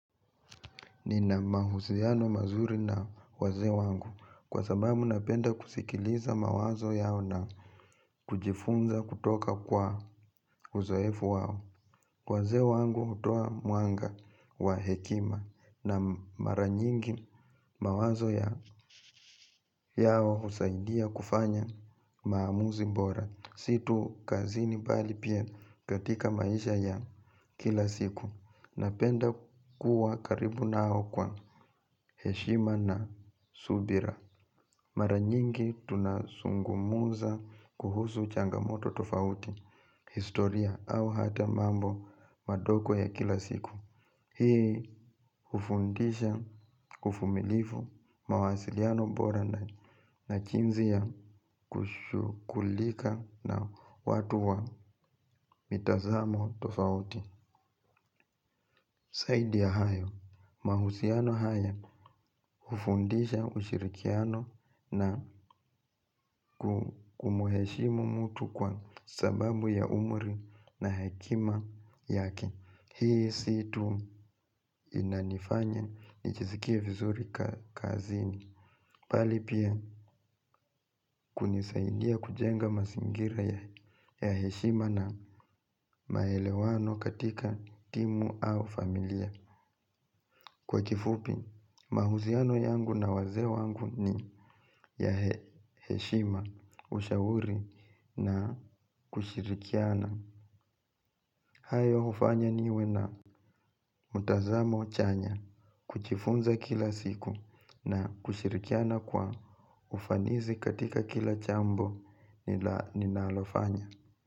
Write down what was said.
Nina mahusiano mazuri na wazee wangu kwa sababu napenda kusikiliza mawazo yao na kujifunza kutoka kwa uzoefu wao. Waze wangu utoa mwanga wa hekima na maranyingi mawazo yao husaidia kufanya maamuzi mbora. Si tu kazini bali pia katika maisha ya kila siku. Napenda kuwa karibu nao kwa heshima na subira. Mara nyingi tunasungumuza kuhusu changamoto tofauti historia au hata mambo madogo ya kila siku. Hii ufundisha, ufumilifu, mawasiliano bora na na jinzi ya kushukulika na watu wa mitazamo tofauti. Saidi ya hayo, mahusiano haya ufundisha ushirikiano na kumuheshimu mtu kwa sababu ya umri na hekima yake. Hii si tu inanifanya nijisikie vizuri kazini. Pali pia kunisaidia kujenga masingira ya heshima na maelewano katika timu au familia. Kwa kifupi, mahusiano yangu na waze wangu ni ya heshima ushauri na kushirikiana. Hayo ufanya niwe na mutazamo chanya kuchifunza kila siku na kushirikiana kwa ufanizi katika kila chambo ninalofanya.